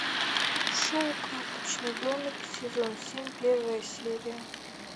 шоу карточный домик сезон семь первая серия